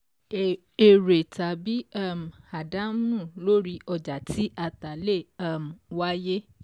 Èrè tàbí um àdánù lóri ọjà tí a tà lè um wáyé.